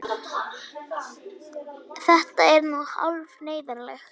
Þetta er nú hálf neyðarlegt.